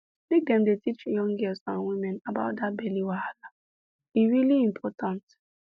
make dem dey teach young girls and women about that belly wahala e really important